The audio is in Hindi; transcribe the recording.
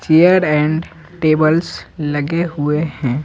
चेयर एंड टेबल्स लगे हुए हैं।